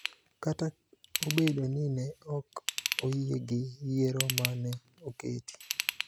kata obedo ni ne ok oyie gi yiero ma ne oketi.